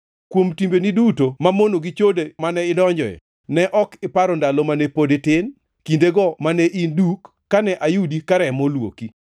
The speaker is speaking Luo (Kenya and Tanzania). Kuom timbeni duto mamono gi chode mane idonje, ne ok iparo ndalo mane pod itin, kindego mane in duk, kane ayudi ka remo olwoki.